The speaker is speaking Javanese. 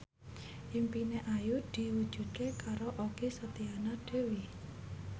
impine Ayu diwujudke karo Okky Setiana Dewi